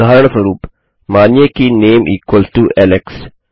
उदाहरणस्वरूप मानिए कि नामे इक्वल्स टो एलेक्स